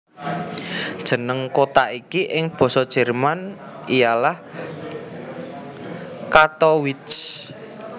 Jeneng kota iki ing Basa Jerman ialah Kattowitz